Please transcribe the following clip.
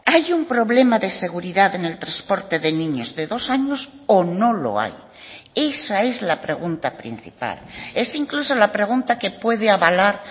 hay un problema de seguridad en el transporte de niños de dos años o no lo hay esa es la pregunta principal es incluso la pregunta que puede avalar